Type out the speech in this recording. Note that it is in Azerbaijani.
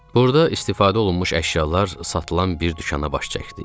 Burda istifadə olunmuş əşyalar satılan bir dükana baş çəkdik.